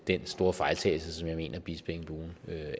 den store fejltagelse som jeg mener bispeengbuen